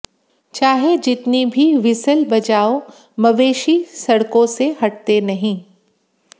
चाहे जितनी बी व्हीसल बजाओ मवेशी सड़कों से हटते नहीं